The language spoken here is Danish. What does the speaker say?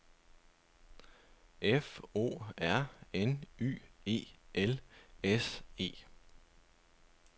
F O R N Y E L S E